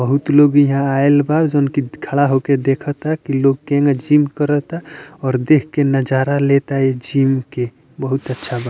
बहुत लोग यहाँ आयल बा जोन खड़ा होकर देख ता कि लोग केना जिम करता और देख के नज़ारा लेता ए जिम के बहुत अच्छा बा।